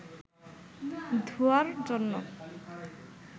ধোঁয়ার জন্য